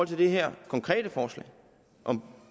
det her konkrete forslag om